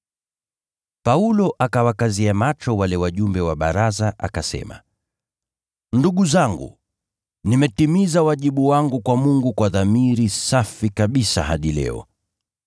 Paulo akawakazia macho wale wajumbe wa baraza, akasema, “Ndugu zangu, nimetimiza wajibu wangu kwa Mungu kwa dhamiri safi kabisa hadi leo.”